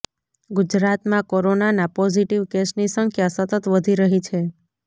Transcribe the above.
ગુજરાતમાં કોરોનાના પોઝિટિવ કેસની સંખ્યા સતત વધી રહી છે